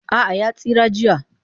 A'a ya tsira jiya